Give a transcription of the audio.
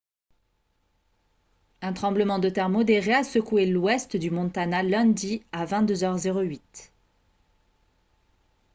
un tremblement de terre modéré a secoué l'ouest du montana lundi à 22 h 08